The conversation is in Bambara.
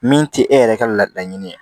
Min tɛ e yɛrɛ ka laɲini ye